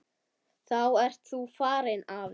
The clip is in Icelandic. Þá ert þú farinn, afi.